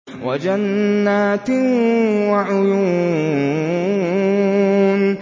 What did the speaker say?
وَجَنَّاتٍ وَعُيُونٍ